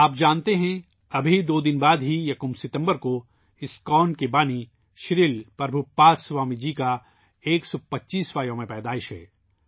آپ جانتے ہیں ، ابھی دو دن بعد ہی ، یکم ستمبر کو ، اسکون کے بانی شری پربھو پاد سوامی جی کی 125 ویں سالگرہ ہے